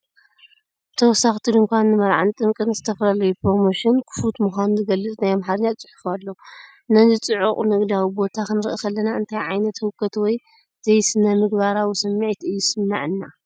ብተወሳኺ እቲ ድኳን ንመርዓ፣ ንጥምቀት፣ ንዝተፈላለዩ ፕሮሞሽን ክፉት ምዃኑ ዝገልጽ ናይ ኣምሓርኛ ጽሑፍ ኣሎ። ነዚ ጽዑቕ ንግዳዊ ቦታ ክንርኢ ከለና እንታይ ዓይነት ህውከት ወይ ዘይስነምግባራዊ ስምዒት እዩ ዝስምዓና?